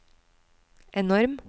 enorm